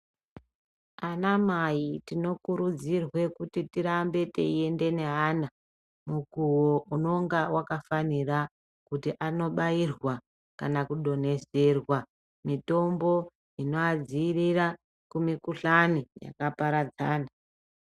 Ana mai tinokurudzirwe kuti tirambe teiende neana mukuvo unonga vakafanira. Kuti anobairwa kana kudonhedzerwa mitombo inoadzirira kumikuhlani yakaparadzana.